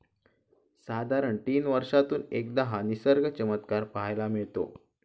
साधारण तीन वर्षातून एकदा हा निसर्ग चमत्कार पाहायला मिळतो.